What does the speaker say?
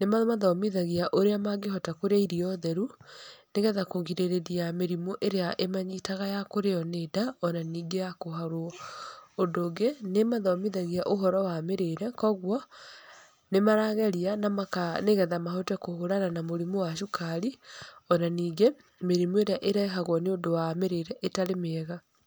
nĩ mamathomithagia ũrĩa mangĩhota kũrĩa irio theru, nĩgetha kũgirĩrĩria mĩrimũ ĩrĩa ĩmanyitaga ya kũrĩo nĩ nda, ona ningĩ ya kũharwo. Ũndũ ũngĩ, nĩ ĩmathomithagia ũhoro wa mĩrĩre, koguo, nĩ marageria na nĩgetha mahote kũhũrana ma mũrimũ wa cukari. Ona ningĩ, mĩrimũ ĩrĩa ĩrehagwo nĩ ũndũ wa mĩrĩre ĩtarĩ mĩega.